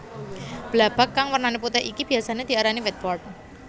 Blabag kang wernané putih iki biyasané diarani whiteboard